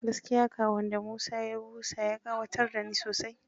Gaskiya ƙahon da Musa ya busa ya ƙayatar da ni.